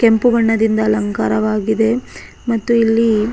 ಕೆಂಪು ಬಣ್ಣದಿಂದ ಅಲಂಕಾರವಾಗಿದೆ ಮತ್ತು ಇಲ್ಲಿ --